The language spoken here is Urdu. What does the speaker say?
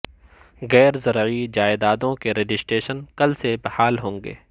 غیر زرعی جائیدادوں کے رجسٹریشن کل سے بحال ہونگے